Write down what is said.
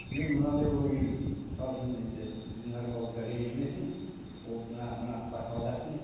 мен мынандай ойға келдім мысалы үшін енді біздің наркологтар ренжімесін ол мына мына баспалдақтың